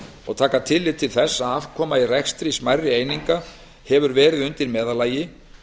og taka tillit til þess að afkoma í rekstri smærri eininga hefur verið undir meðallagi